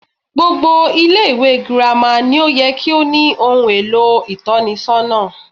Gbogbo Ilé ìwé girama ni ó ye kí ó ní ohun èlò ìtónisónà